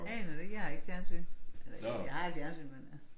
Aner det ikke jeg har ikke fjernsyn. Eller jeg har et fjernsyn men øh